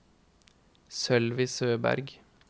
Sølvi Søberg